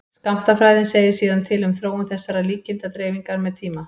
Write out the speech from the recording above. skammtafræðin segir síðan til um þróun þessarar líkindadreifingar með tíma